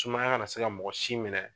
Sumaya kana na se ka mɔgɔ si minɛ.